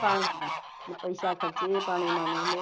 પાણી માં ને પેસા ખર્ચે એ પાણી માં